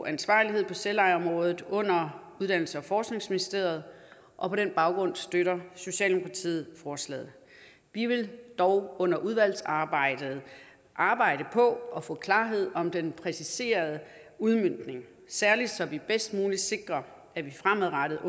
ansvarlighed på selvejeområdet under uddannelses og forskningsministeriet og på den baggrund støtter socialdemokratiet forslaget vi vil dog under udvalgsarbejdet arbejde på at få klarhed om den præciserede udmøntning særlig så vi bedst muligt sikrer at vi fremadrettet